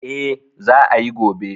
Eh, Za ayi gobe